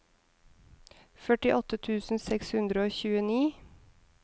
førtiåtte tusen seks hundre og tjueni